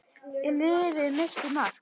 Og lyfið missti marks.